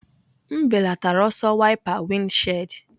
M belatara ọsọ wiper windshield.